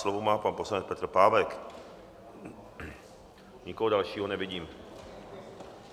Slovo má pan poslanec Petr Pávek, nikoho dalšího nevidím.